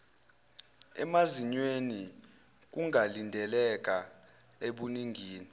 emazinyweni kungalindeleka ebuningini